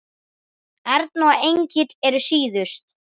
Erna og Engill eru síðust.